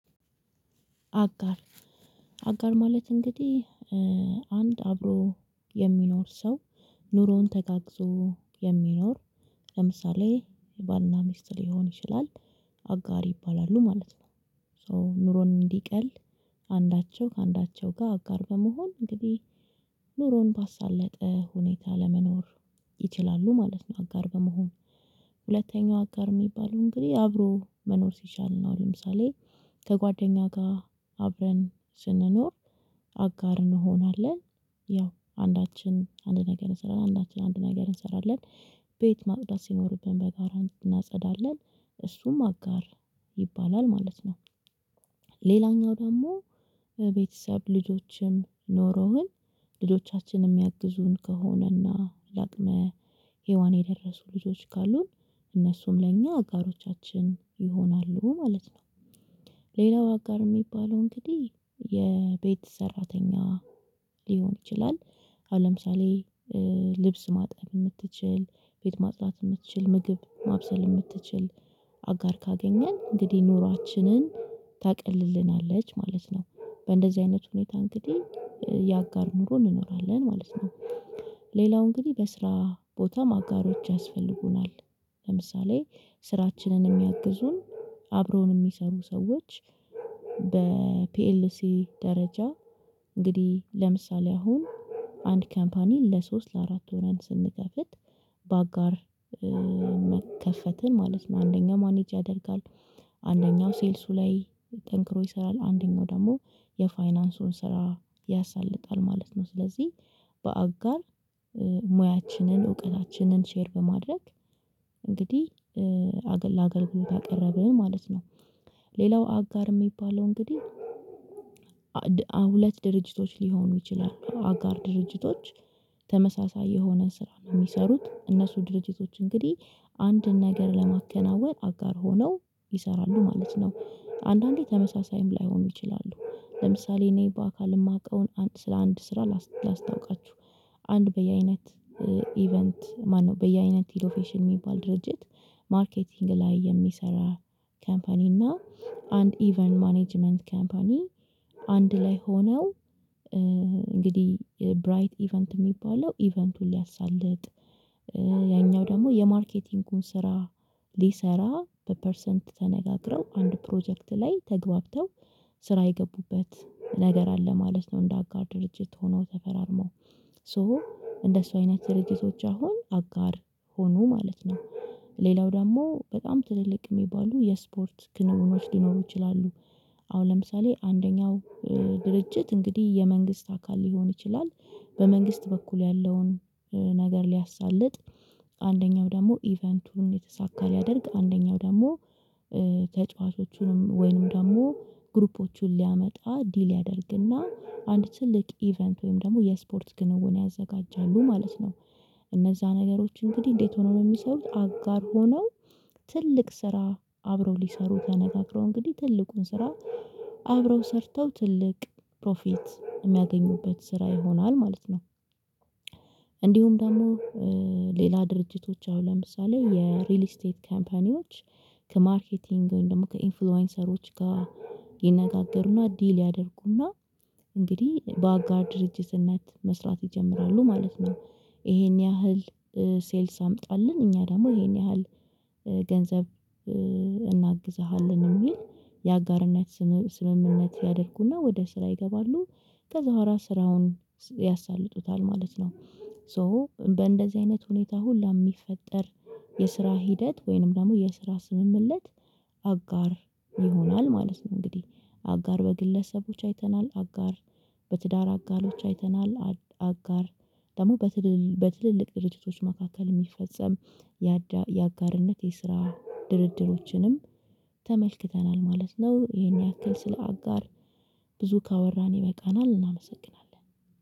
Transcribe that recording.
አጋር፣ አጋር ማለት እንግዲህ አንድ አብሮ የሚኖር ሰው ኑሮውን ተጋግዞ የሚኖር፣ ለምሳሌ የባልና ሚስት ሊሆን ይችላል አጋር ይባላሉ ማለት ነው። ሶ ኑሮን እንዲቀል አንዳቸው ከአንዳቸው ጋር አጋር በመሆን እንግዲህ ኑሮውን ባሳለጠ ሁኔታ ለመኖር ይችላሉ ማለት ነው አጋር በመሆን። ሁለተኛው አጋር የሚባለው እንግዲህ አብሮ መኖር ሲቻል ነው። ለምሳሌ ከጓደኛ ጋር አብረን ስንኖር አጋር እንሆናለን። ያው አንዳችን አንድ ነገር እንሰራለን፣ አንዳችን አንድ ነገር እንሰራለን። ቤት ማውዳት ሲኖርብን በጋራ እናጸዳለን። እሱም አጋር ይባላል ማለት ነው። ሌላኛው ደግሞ ቤተሰብ ልጆችም ኖሮህን ልጆቻችንም ያግዙን ከሆነና ለአቅመ ሄዋን የደረሱ ልጆች ካሉን እነሱም ለእኛ አጋሮቻችን ይሆናሉ ማለት ነው። ሌላው አጋር የሚባለው እንግዲህ የቤት ሰራተኛ ሊሆን ይችላል። አሁን ለምሳሌ ልብስ ማጠብ የምትችል፣ ቤት ማጥናት የምትችል ምግብ ማብሰል የምትችል አጋር ካገኘን እንግዲህ ኑሯችንን ታቀልልናለች ማለት ነው። በእንደዚህ አይነት ሁኔታ እንግዲህ የአጋር ኑሮ እንኖራለን ማለት ነው። ሌላው እንግዲህ በስራ ቦታም አጋሮች ያስፈልጉናል። ለምሳሌ ስራችንን የሚያግዙን አብሮን የሚሰሩ ሰዎች በፒኤልሲ ደረጃ እንግዲህ ለምሳሌ አሁን አንድ ካምፓኒ ለሶስት ለአራት ሆነን ስንከፍት በአጋር መከፈትን ማለት ነው አንደኛው ማኔጅ ያደርጋል፣ አንደኛው ሴልሱ ላይ ጠንክሮ ይሰራል፣ አንደኛው ደግሞ የፋይናንሱን ስራ ያሳልፋል ማለት ነው። ስለዚህ በአጋር ሙያችንን፣ እውቀታችንን ሼር በማድረግ እንግዲህ አገል ለአገልግሎት አቀረበን ማለት ነው። ሌላው አጋር የሚባለው እንግዲህ ሁለት ድርጅቶች ሊሆኑ ይችላሉ፣ አጋር ድርጅቶች ተመሳሳይ የሆነ ስራ ነው የሚሰሩት። እነሱ ድርጅቶች እንግዲህ አንድን ነገር ለማከናወን አጋር ሆነው ይሰራሉ ማለት ነው። አንዳንዴ ተመሳሳይም ላይሆኑ ይችላሉ። ለምሳሌ እኔ በአካል የማውቀውን ስለአንድ ስራ ላስታውቃችሁ። አንድ በየአይነት ኢቨንት ማነው፣ በየአይነት ኢኮፌሽን የሚባል ድርጅት ማርኬቲንግ ላይ የሚሰራ ካምፓኒ እና አንድ ኢቨን ማኔጅመንት ካምፓኒ አንድ ላይ ሆነው እንግዲህ ብራይት ኢቨንት የሚባለው ኢቨንቱን ሊያሳልጥ ያኛው ደግሞ የማርኬቲንጉን ስራ ሊሰራ በፐርሰንት ተነጋግረው አንድ ፕሮጀክት ላይ ተገብተው ስራ የገቡበት ነገር አለ ማለት ነው እንደ አጋር ድርጅት ሆነው ተፈራርመው። ሶ እንደሱ አይነት ድርጅቶች አሁን አጋር ሆኑ ማለት ነው። ሌላው ደግሞ በጣም ትልልቅ የሚባሉ የስፖርት ክንውኖች ሊኖሩ ይችላሉ፣ አሁን ለምሳሌ አንደኛው ድርጅት እንግዲህ የመንግስት አካል ሊሆን ይችላል በመንግስት በኩል ያለውን ነገር ሊያሳልጥ አንደኛው ደግሞ ኢቨንቱን የተሳካ ሊያደርግ፣ አንደኛው ደግሞ ተጫዋቾቹንም ወይንም ደግሞ ግሩፖቹን ሊያመጣ ዲል ያደርግና አንድ ትልቅ ኢቨንት ወይም ደግሞ የስፖርት ግንውን ያዘጋጃሉ ማለት ነው። እነዛ ነገሮች እንግዲህ እንዴት ሆነው ነው የሚሰሩት? አጋር ሆነው ትልቅ ስራ አብረው ሊሰሩ ተነጋግረው እንግዲህ ትልቁን ስራ አብረው ሰርተው ትልቅ ፕሮፊት የሚያገኙበት ስራ ይሆናል ማለት ነው። እንዲሁም ደግሞ ሌላ ድርጅቶች አሁን ለምሳሌ የሪል ስቴት ካምፓኒዎች ከማርኬቲንግ ወይም ደግሞ ከኢንፍሉዌንሰሮች ጋር ይነጋገሩና ዲል ያደርጉና እንግዲህ በአጋር ድርጅትነት መስራት ይጀምራሉ ማለት ነው። ይሄን ያህል ሴልስ አምጣለን እኛ ደግሞ ይሄን ያህል ገንዘብ እናግዝሃለን የሚል የአጋርነት ስምምነት ያደርጉና ወደ ስራ ይገባሉ። ከዛ ወራት ስራውን ያሳልጡታል ማለት ነው። ሶ በእንደዚህ አይነት ሁኔታ ሁሉ የሚፈጠር የስራ ሂደት ወይንም ደግሞ የስራ ስምምለት አጋር ይሆናል ማለት ነው። እንግዲህ አጋር በግለሰቦች አይተናል፣ አጋር በትዳር አጋሎች አይተናል፣ አጋር ደግሞ በትልልቅ ድርጅቶች መካከል የሚፈጸም የአጋርነት የስራ ድርድሮችንም ተመልክተናል ማለት ነው። ይሄን ያክል ስለ አጋር ብዙ ካወራን ይበቃናል። እናመሰግናለን።